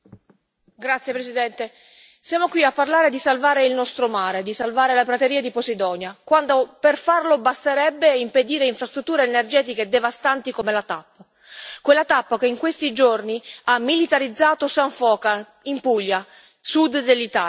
Signor Presidente, onorevoli colleghi, siamo qui a parlare di salvare il nostro mare, di salvare la prateria di Posidonia, quando per farlo basterebbe impedire infrastrutture energetiche devastanti come la TAP. Quella TAP che in questi giorni ha militarizzato San Foca, in Puglia, nel Sud dell'Italia.